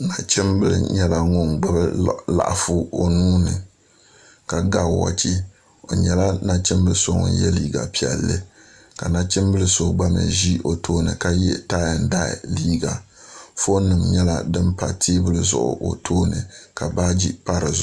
nachimbili nyɛla ŋun gbubi laɣafu o nuuni o nyɛla nachimbili so ŋun yɛ liiga piɛlli ka nachimbili so mii gba ʒi o tooni ka yɛ tai ɛn dai liiga foon nim nyɛla din pa teebuli zuɣu o tooni ka baaji nim gba paya